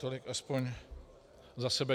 Tolik aspoň za sebe.